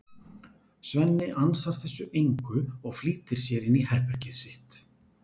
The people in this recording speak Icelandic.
Svenni ansar þessu engu og flýtir sér inn í herbergið sitt.